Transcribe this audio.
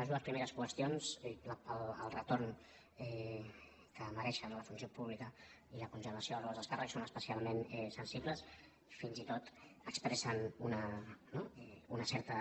les dues primeres qüestions el retorn que mereixen a la funció pública i la congelació dels sous dels alts càrrecs són especialment sensibles fins i tot expressen no una certa